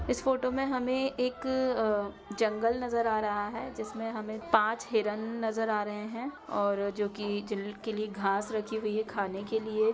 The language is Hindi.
इस फोटो में हमें एक अ जंगल नजर आ रहा है। जिसमे हमें पाँच हिरण नजर आ रहे हैं और जो कि जिनके लिए घास रखी हुई है खाने के लिए।